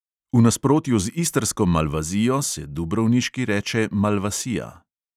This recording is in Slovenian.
V nasprotju z istrsko malvazijo se dubrovniški reče malvasija.